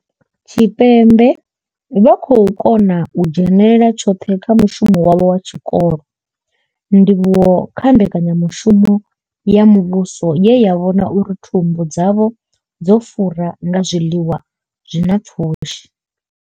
Tshipembe vha khou kona u dzhenela tshoṱhe kha mushumo wavho wa tshikolo, ndivhuwo kha mbekanya mushumo ya muvhuso ye ya vhona uri thumbu dzavho dzo fura nga zwiḽiwa zwi na pfushi.